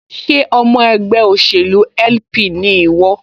Ṣé ọmọ ẹgbẹ́ òṣèlú LP ni ìwọ?